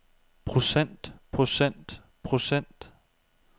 procent procent procent